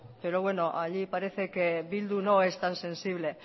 pero bueno allí parece que bildu no es tan sensible